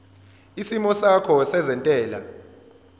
isimo sakho sezentela